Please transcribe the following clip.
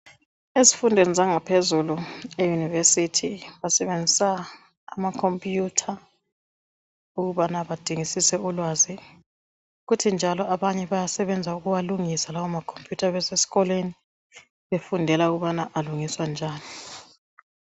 Ezifundweni zangaphezulu eyunivesithi basebenzisa amakhompuyutha ukubana badingisise ulwazi kuthi njalo abanye bayasebenza ukuwalungisa lawo amakhompuyutha besesikolweni befundela ukubana alungiswa njani.